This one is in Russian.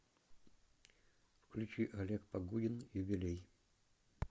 включи олег погудин юбилей